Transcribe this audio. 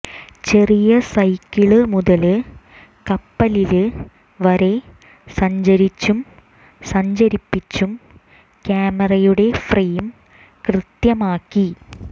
ചെറിയ സൈക്കിള് മുതല് കപ്പലില് വരെ സഞ്ചരിച്ചും സഞ്ചരിപ്പിച്ചും ക്യാമറയുടെ ഫ്രെയിം കൃത്യമാക്കി